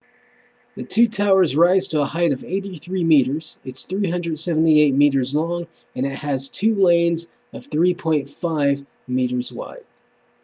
the two towers rise to a height of 83 meters it's 378 meters long and it has two lanes of 3.50 m wide